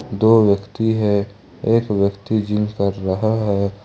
दो व्यक्ति है एक व्यक्ति जिम कर रहा है।